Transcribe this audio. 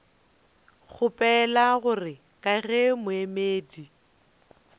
kgopela gore ka ge moemedi